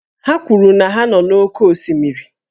Ha kwuru na ha nọ n'oké osimiri